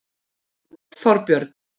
Þorbjörn